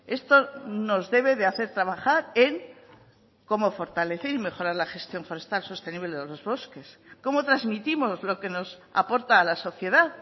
esto nos debe de hacer trabajar en cómo fortalecer y mejorar la gestión forestal sostenible de los bosques cómo transmitimos lo que nos aporta a la sociedad